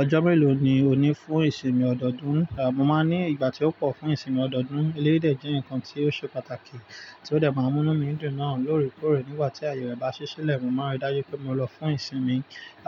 Ọjọ́ mélòó ni ò ní fún ìsinmi ọdọọdún? Mo máa ní ìgbà tí ó pọ̀ fún ìsinmi ọdọọdún, eléyìí dẹ̀ jẹ́ nǹkan tí ó ṣe pàtàkì tí ó dẹ̀ máa mú mí dùn náà lórí kórè nígbà tí ayẹyẹ bá ṣí sílẹ̀, mo máa rí dájú pé mo lọ fún ìsinmi,